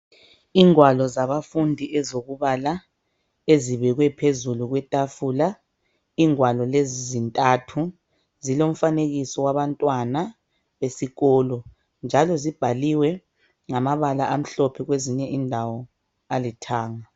Ingwalo zabafundi ezokubala ezibekwe phezulu kwetafula ingwalo lezi zintathu zilomfanekiso wabantwana besikolo njalo zibhaliwe ngamabala amhlophe kwezinye indawo alithanga .